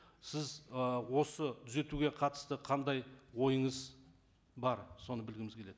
сіз ы осы түзетуге қатысты қандай ойыңыз бар соны білгіміз келеді